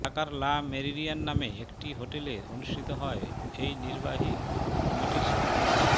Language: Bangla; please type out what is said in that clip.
ঢাকার লা মেরিডিয়ান নামে একটি হোটেলে অনুষ্ঠিত হয় এই নির্বাহী কমিটির সভা